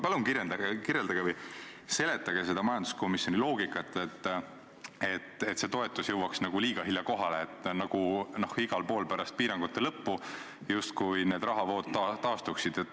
Palun kirjeldage või seletage seda majanduskomisjoni loogikat, et see toetus jõuaks liiga hilja kohale, nagu igal pool pärast piirangute lõppu justkui need rahavood taastuksid.